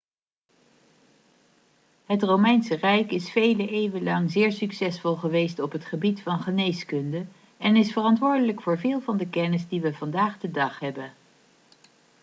het romeinse rijk is vele eeuwen lang zeer succesvol geweest op het gebied van geneeskunde en is verantwoordelijk voor veel van de kennis die we vandaag de dag hebben